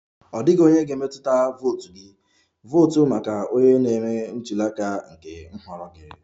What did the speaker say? Ọ dịghị onye ga-emetụta votu gị, votu maka onye na-eme ntuli aka nke nhọrọ gị!